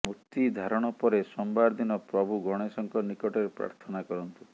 ମୋତି ଧାରଣ ପରେ ସୋମବାର ଦିନ ପ୍ରଭୁ ଗଣେଶଙ୍କ ନିକଟରେ ପ୍ରାର୍ଥନା କରନ୍ତୁ